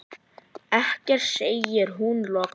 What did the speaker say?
Ekkert, segir hún loks.